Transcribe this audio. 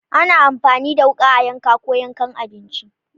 Ana amfani da wuka a yanka ko yankan abinci.